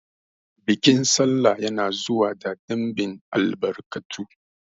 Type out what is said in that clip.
Bikin sallah ya na zuwa da ɗinbin albarkatu